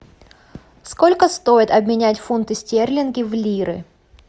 сколько стоит обменять фунты стерлинги в лиры